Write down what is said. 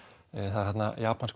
það er þarna japanskur